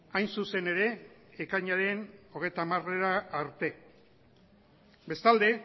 hain zuzen ere ekainaren hogeita hamarera arte bestalde